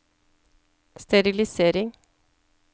sterilisering